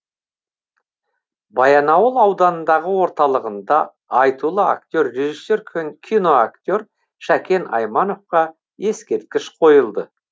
баянауыл ауданының орталығында айтулы актер режиссер киноактер шәкен аймановқа ескерткіш қойылды